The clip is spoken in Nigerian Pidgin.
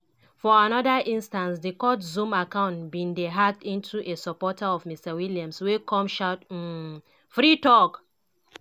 for anoda instance di court zoom account bin dey hacked into by a supporter of mr williams wey come shout um "free thug!".